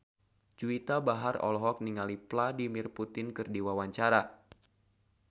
Juwita Bahar olohok ningali Vladimir Putin keur diwawancara